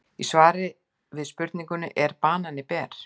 Í svari við spurningunni Er banani ber?